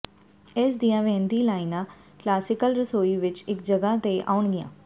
ਇਸ ਦੀਆਂ ਵਹਿੰਦੀ ਲਾਈਨਾਂ ਕਲਾਸੀਕਲ ਰਸੋਈ ਵਿਚ ਇਕ ਜਗ੍ਹਾ ਤੇ ਆਉਣਗੀਆਂ